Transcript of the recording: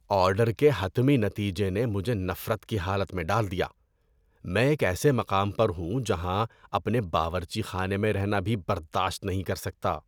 Order کے حتمی نتیجے نے مجھے نفرت کی حالت میں ڈال دیا۔ میں ایک ایسے مقام پر ہوں جہاں اپنے باورچی خانے میں رہنا بھی برداشت نہیں کر سکتا۔